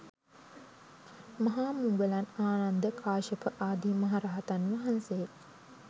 මහා මුලගන්, ආනන්ද, කාශ්‍යප ආදි මහා රහතන් වහන්සේ